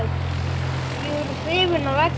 Ég er hrifinn af eggjum.